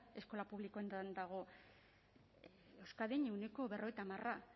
eskola publikoetan dago euskadin ehuneko berrogeita hamarra